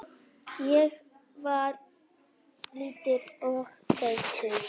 Ég var lítill og feitur.